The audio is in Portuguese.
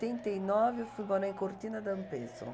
e nove, eu fui morar em Cortina D'Ampezzo.